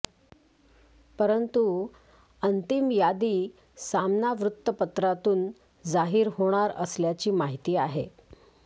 परंतु अंतिम यादी सामना वृत्तपत्रातून जाहीर होणार असल्याची माहिती आहे